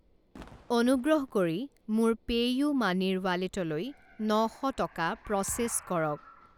অনুগ্ৰহ কৰি মোৰ পেইউমানিৰ ৱালেটলৈ ন শ টকা প্ৰ'চেছ কৰক।